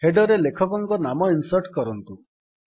header ରେ ଲେଖକଙ୍କ ନାମ ଇନ୍ସର୍ଟ୍ କରନ୍ତୁ